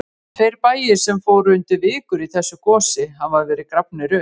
Tveir bæir sem fóru undir vikur í þessu gosi hafa verið grafnir upp.